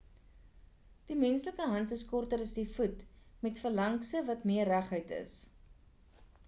die menslike hand is korter as die voet met phalankse wat meer reguit is